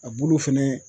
A bulu fɛnɛ